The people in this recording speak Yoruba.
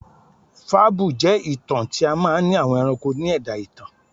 Fàbúú jẹ́ ìtàn tí a máa n ni àwọn ẹranko ni ẹ̀dá ìtàn